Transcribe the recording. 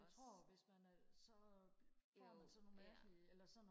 jeg tror hvis man er så får man sådan nogle mærkelige eller sådan